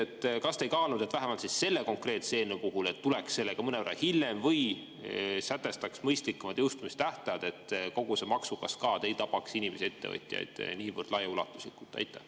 Küsingi teilt: kas te ei kaalunud, vähemalt selle konkreetse eelnõu puhul, et tuleks sellega välja mõnevõrra hiljem või sätestaks mõistlikumad jõustumistähtajad, et kogu see maksukaskaad ei tapaks inimesi ja ettevõtjaid niivõrd laiaulatuslikult?